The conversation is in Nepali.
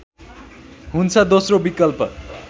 हुन्छ दोस्रो विकल्प